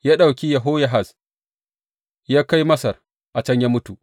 Ya ɗauki Yehoyahaz ya kai Masar, a can ya mutu.